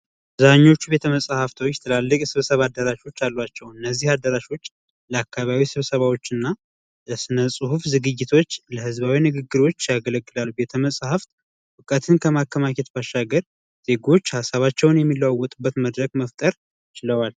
አብዛኞቹ ቤተመጻሕፍት ትላልቅ አዳራሾች አሏቸው እነዚ አዳራሾች ለአከባቢ ስብሰባዎች እና ለስነ ፅሁፍ ዝግጅቶች ለህዝብ ንግግሮች ያገለግላል። ቤተመጻሕፍት እውቀትን ከማከማቸት ባሻገር ዜጎች ሀሳባቸውን የሚለዋወጡበት መድረክ መፍጠር ችለዋል።